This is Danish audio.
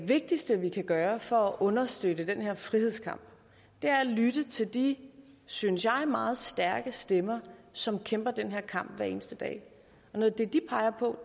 vigtigste vi kan gøre for at understøtte den her frihedskamp er at lytte til de synes jeg meget stærke stemmer som kæmper den her kamp hver eneste dag og noget af det de peger på